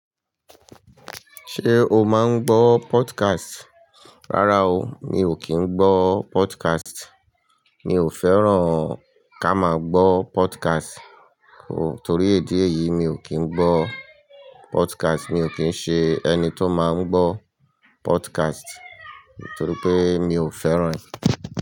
Ṣé o máa ń gbọ́ podcast? Rárá o, mi ò kí ń gbọ́ podcast. Mi ò fẹ́ràn ká máa gbọ́ podcast o. Torí èdè yìí, mi ò kí ń gbọ́ podcast. Mi ò kí ń ṣe ẹni tó máa ń gbọ́ podcast torí pé mi ò fẹ́ràn rẹ̀.